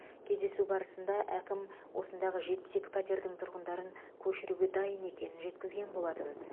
кездесу барысында әкім осындағы жетпіс екі пәтердің тұрғындарын көшіруге дайын екенін жеткізген болатын